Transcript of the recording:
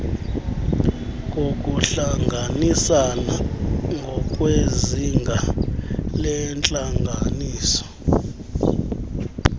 zokuhlanganisana ngokwezinga lentlanganiso